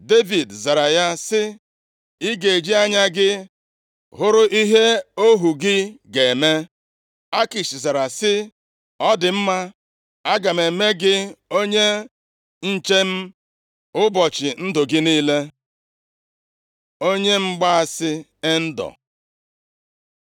Devid zara ya sị, “Ị ga-eji anya gị hụrụ ihe ohu gị ga-eme.” Akish zara sị, “Ọ dị mma aga m eme gị onye nche m ụbọchị ndụ gị niile.” Onye mgbaasị Endọ